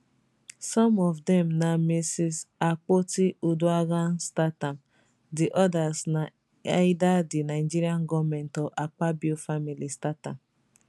some of dem na mrs akpotiuduaghan start am di odas na either di nigeria goment or akpabio family start am